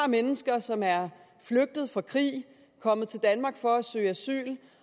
mennesker som er flygtet fra krig kommet til danmark for at søge asyl